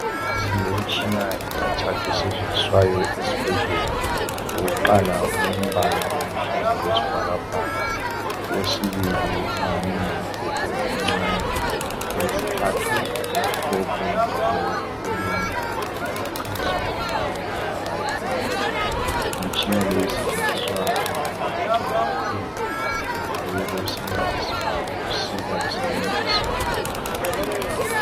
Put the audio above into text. Silemitshina emithathu esetshenziswayo esibhedlela, owokuqala ulombala oluhlaza okwesibhakabhaka, owesibili ungani ngumbhobho omncane, owesithathu umhlophe njalo ulendawo lapho okhanyisa khona okwenzakalayo phakathi. Imtshina le isetshenziswa ngodokotela kakhulu, bangabe bewusebenzisa ukusika besebenzisa ukukhanyisa.